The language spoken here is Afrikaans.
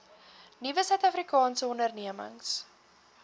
nuwe suidafrikaanse ondernemings